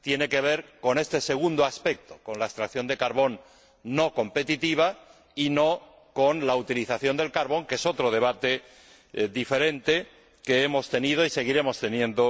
tiene que ver con este segundo aspecto, con la extracción de carbón no competitiva y no con la utilización del carbón, que es otro debate diferente que hemos tenido y seguiremos teniendo